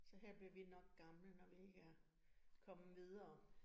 Så her bliver vi nok gamle, når vi ikke er kommet videre